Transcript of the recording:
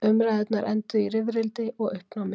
Umræðurnar enduðu í rifrildi og uppnámi.